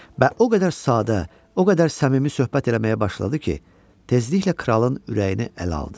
Və o qədər sadə, o qədər səmimi söhbət eləməyə başladı ki, tezliklə kralın ürəyini ələ aldı.